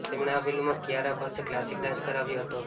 તેમણે આ ફિલ્મમાં કિયારા પાસે ક્લાસિકલ ડાન્સ કરાવ્યો હતો